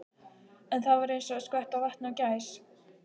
En það var eins og að skvetta vatni á gæs.